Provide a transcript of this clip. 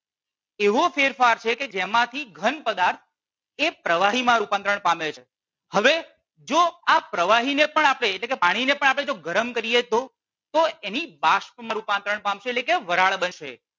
એવો ફેરફાર છે કે જેમાથી ઘન પદાર્થ એ પ્રવાહીમાં રૂપાંતર પામે છે. હવે જો આ પ્રવાહીને પણ આપણે પાણીને પણ આપણે ગરમ કરીએ તો તો એની બાષ્પમાં રૂપાંતરણ પામશે એટલે કે વરાળ બનશે